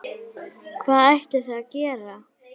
Maður skemmtir sér bara ha?